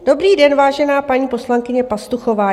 Dobrý den, vážená paní poslankyně Pastuchová.